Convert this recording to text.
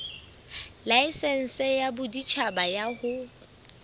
laesense ya boditjhaba ya ho